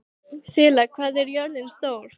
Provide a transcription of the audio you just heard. Þula, hvað er jörðin stór?